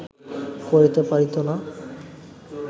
করিতে পারিত না